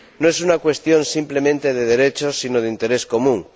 No es una cuestión simplemente de derechos sino de interés común.